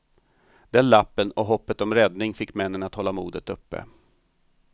Den lappen och hoppet om räddning fick männen att hålla modet uppe.